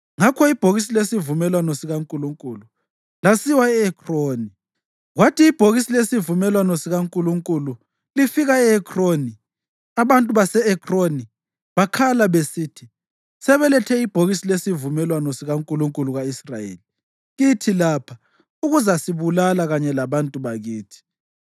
Ngakho ibhokisi lesivumelwano sikaNkulunkulu lasiwa e-Ekroni. Kwathi ibhokisi lesivumelwano sikaNkulunkulu lifika e-Ekroni, abantu base-Ekroni bakhala besithi, “Sebelethe ibhokisi lesivumelwano sikankulunkulu ka-Israyeli kithi lapha ukuzasibulala kanye labantu bakithi.”